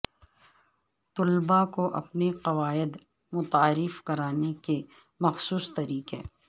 طلباء کو اپنے قواعد متعارف کرانے کے مخصوص طریقے